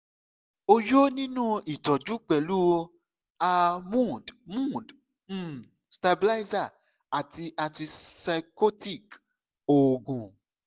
o yoo nilo itọju pẹlu a mood mood um stabilizer ati antipsychotic oogun